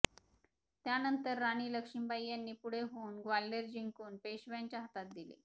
त्यानंतर राणी लक्ष्मीबाई यांनी पुढे होऊन ग्वाल्हेर जिंकून पेशव्यांच्या हातात दिले